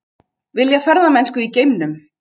Vilja ferðamennsku í geimnum